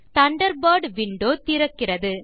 Thunderbird window திறக்கிறது